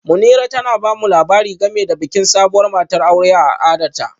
Munirat tana ba mu labari game da bikin sabuwar matar aure a al'adarta